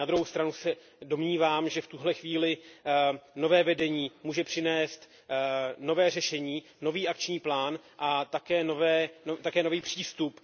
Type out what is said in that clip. Na druhou stanu se domnívám, že v tuto chvíli nové vedení může přinést nové řešení, nový akční plán a také nový přístup.